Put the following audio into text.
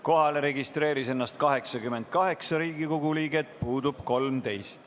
Kohalolijaks registreerus 88 Riigikogu liiget, puudub 13.